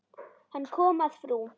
Hann kom að frú